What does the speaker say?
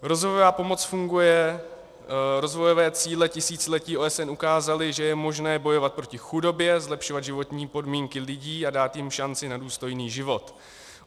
Rozvojové cíle tisíciletí OSN ukázaly, že je možné bojovat proti chudobě, zlepšovat životní podmínky lidí a dát jim šanci na důstojný život.